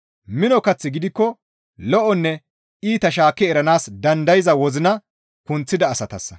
Mino kaththi gidikko lo7onne iita shaakki eranaas dandayza wozina kunththida asatassa.